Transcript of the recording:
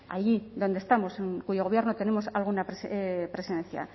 allí donde estamos en cuyo gobierno tenemos alguna presencia